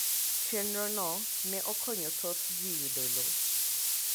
Chenro no ne okonyo thoth ji yudo lowo